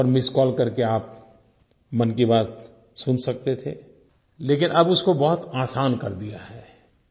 उस पर missed call करके आप मन की बात सुन सकते थे लेकिन अब उसको बहुत आसान कर दिया है